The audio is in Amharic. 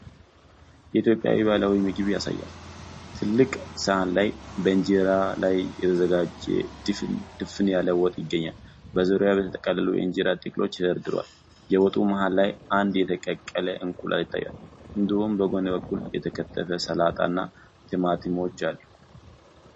የኢትዮጵያን ባህላዊ ምግብ ያሳያል። ትልቅ ሰሃን ላይ በእንጀራ ላይ የተዘጋጀ ድፍን ያለ ወጥ ይገኛል። በዙሪያው የተጠቀለሉ የእንጀራ ጥቅሎች ተደርድረዋል። የወጡ መሃል ላይ አንድ የተቀቀለ እንቁላል ይታያል። እንዲሁም በጎን በኩል የተከተፉ ሰላጣ እና ቲማቲሞች አሉ።